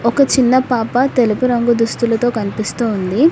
ఒక చిన్న పాప తెలుపు రంగు దుస్తులతో కనిపిస్తూ ఉంది.